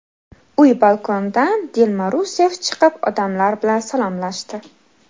Uy balkonidan Dilma Russeff chiqib, odamlar bilan salomlashdi.